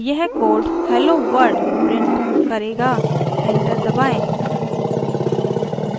यह code hello world print करेगा enter दबाएँ